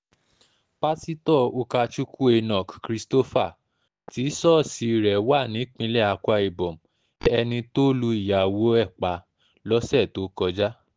pásítọ̀ ukakukwu enoch christopher tí ṣọ́ọ̀ṣì rẹ̀ wà nípìnlẹ̀ akwa-ibom ẹni tó lu ìyàwó ẹ̀ pa lọ́sẹ̀ tó kọjá